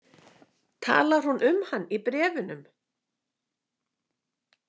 Talar hún um hann í bréfunum?